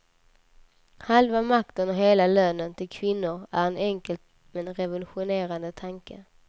Halva makten och hela lönen till kvinnor är en enkel men revolutionerande tanke.